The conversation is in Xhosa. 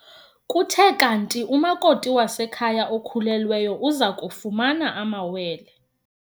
Kuthe kanti umakoti wasekhaya okhulelweyo uza kufumana amawele.